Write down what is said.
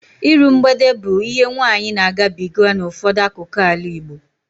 Iru mgbede bụ ihe nwaanyị na-agabiga n'ụfọdụ akụkụ ala Igbo